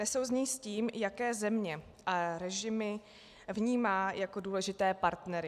Nesouznějí s tím, jaké země a režimy vnímá jako důležité partnery.